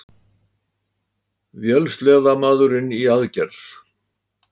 Vélsleðamaðurinn í aðgerð